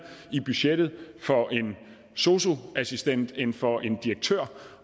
i budgettet for en sosu assistent end for en direktør